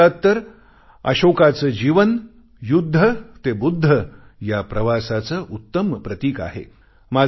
आणि भारतात तर अशोकचे जीवन युद्ध ते बुद्ध या प्रवासाचे उत्तम प्रतीक आहे